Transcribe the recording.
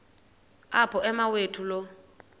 apho umawethu lo